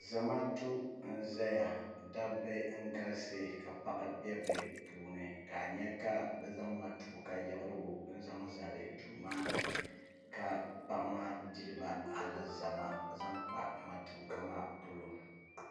zamaatu nʒɛya dabba n galisi ka paɣa bɛ bi puuni ka n nyɛ ka bi zaŋ matuuka yiɣirigu nzaŋ zali duu maa ni ka paɣa maa diriba alizama zaŋ kpa matuuka maa polo